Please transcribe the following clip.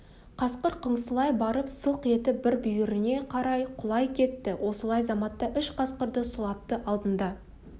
қасқыр қыңсылай барып сылқ етіп бір бүйіріне қарай құлай кетті осылай заматта үш қасқырды сұлатты алдында